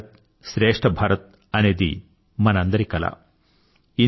ఏక్ భారత్ స్రేష్ఠ భారత్ అనేది మనందరి కల